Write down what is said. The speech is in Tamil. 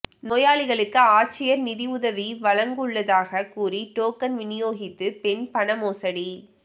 நோயாளிகளுக்கு ஆட்சியா் நிதியுதவி வழங்குவுள்ளதாக கூறி டோக்கன் விநியோகித்து பெண் பண மோசடி